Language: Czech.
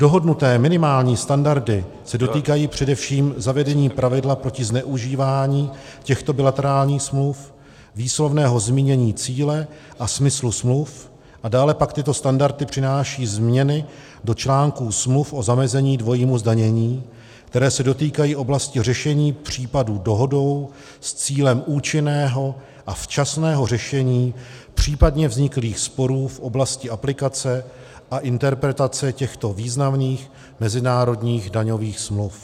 Dohodnuté minimální standardy se dotýkají především zavedení pravidla proti zneužívání těchto bilaterálních smluv, výslovného zmínění cíle a smyslu smluv a dále pak tyto standardy přináší změny do článků smluv o zamezení dvojímu zdanění, které se dotýkají oblasti řešení případů dohodou s cílem účinného a včasného řešení případně vzniklých sporů v oblasti aplikace a interpretace těchto významných mezinárodních daňových smluv.